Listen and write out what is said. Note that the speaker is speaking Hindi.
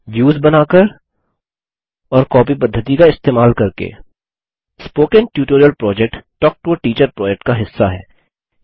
a व्युस बनाकर और b कॉपी पद्धति का इस्तेमाल करके spoken tutorial project talk to a teacher project का हिस्सा है